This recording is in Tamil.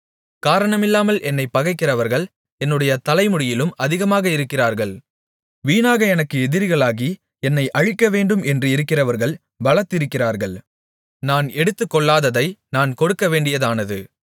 காரணமில்லாமல் என்னைப் பகைக்கிறவர்கள் என்னுடைய தலைமுடியிலும் அதிகமாக இருக்கிறார்கள் வீணாக எனக்கு எதிரிகளாகி என்னை அழிக்கவேண்டும் என்றிருக்கிறவர்கள் பலத்திருக்கிறார்கள் நான் எடுத்துக்கொள்ளாததை நான் கொடுக்கவேண்டியதானது